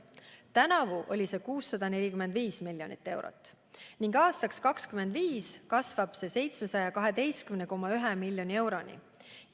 Tänavu oli see 645 miljonit eurot ning aastaks 2025 kasvab see 712,1 miljoni euroni.